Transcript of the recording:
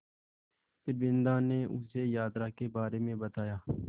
फिर बिन्दा ने उसे यात्रा के बारे में बताया